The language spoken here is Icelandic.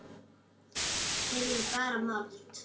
Yrði bara mold.